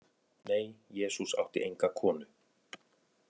Nei, Jesús átti enga konu.